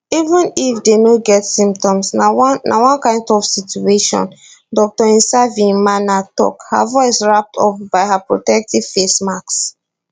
even if dey no get symptoms na one na one kind tough situation dr nsavyimana tok her voice wrap up by her protective face mask